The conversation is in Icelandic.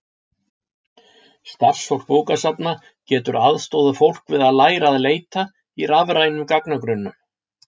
Starfsfólk bókasafna getur aðstoðað fólk við að læra að leita í rafrænum gagnagrunnum.